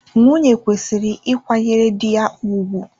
Nwunye kwesịrị ị ịkwanyere dị ya ùgwù.